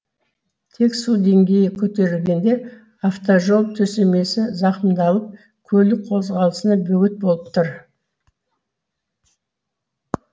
тек су деңгейі көтерілгенде автожол төсемесі зақымдалып көлік қозғалысына бөгет болып тұр